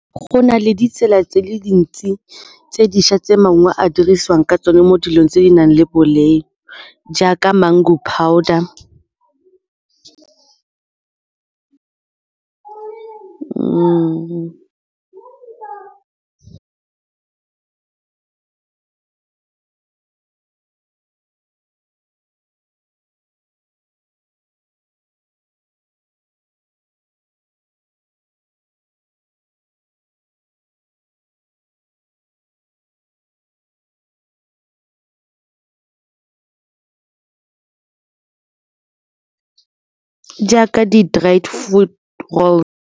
Go na le ditsela tse dintsi tse dišwa tse maungo a dirisiwang ka tsone mo dilong tse di nang le jaaka mango powder jaaka di-dried fruit roll.